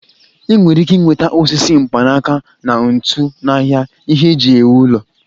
I nwere ike nweta osisi, mkpanaka na ntu n'ahịa ihe eji ewu ụlọ